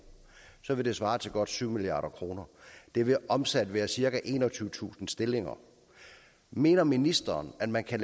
så vil det svare til godt syv milliard kroner det vil omsat være cirka enogtyvetusind stillinger mener ministeren at man kan